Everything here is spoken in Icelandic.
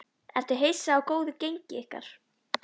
Ertu hissa á góðu gengi ykkar?